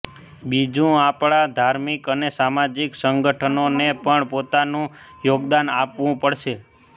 બીજું આપણા ધાર્મિક અને સામાજિક સંગઠનોને પણ પોતાનું યોગદાન આપવું પડશે